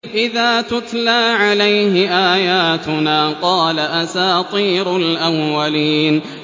إِذَا تُتْلَىٰ عَلَيْهِ آيَاتُنَا قَالَ أَسَاطِيرُ الْأَوَّلِينَ